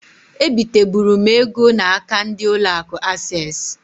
E biteburu m ego na-aka ndi ụlọ akụ Ases.